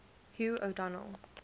hugh o donel